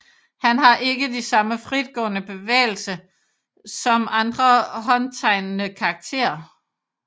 Han har ikke de samme fritgående bevægelse som andre håndtegnede karakterer